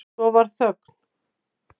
Svo varð þögn.